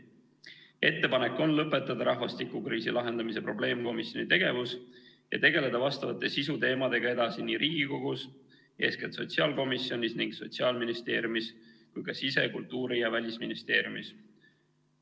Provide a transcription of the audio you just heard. Ettepanek on lõpetada rahvastikukriisi lahendamise probleemkomisjoni tegevus ja tegeleda vastavate sisuteemadega edasi nii Riigikogus, eeskätt sotsiaalkomisjonis, Sotsiaalministeeriumis kui ka sise-, kultuuri- ja välisministeeriumis.